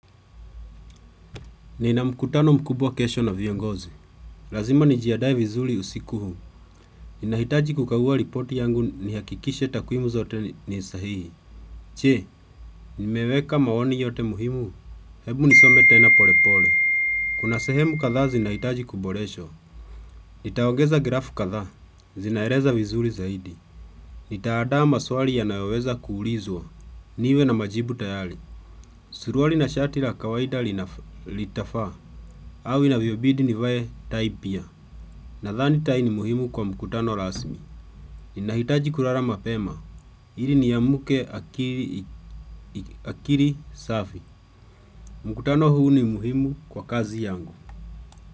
Nina mkutano mkubwa kesho na viongozi. Lazima nijiadae vizuli usiku hu. Ninahaitaji kukagua ripoti yangu niakikishe takwimu zote ni sahihi. Che, nimeweka maoni yote muhimu. Hebu nisome tena pole pole. Kuna sehemu katha zinahitaji kuboresha. Nitaongeza grafu katha. Zinaereza vizuli zaidi. Nitaadaa maswali yanayoweza kuulizwa. Niwe na majibu tayali. Suruali na shati la kawaida litafa. Hawi naviobidi ni vaye taipia nadhani tai ni muhimu kwa mkutano rasmi. Ninahitaji kurara mapema. Hili niamuke akiri safi. Mkutano huu ni muhimu kwa kazi yangu.